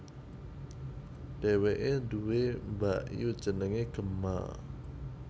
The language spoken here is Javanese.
Dheweke duwé mbakyu jenenge Gemma